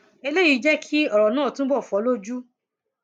eléyìí jẹ kí ọrọ náà túbọ fọ lójú